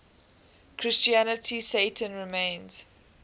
christianity satan remains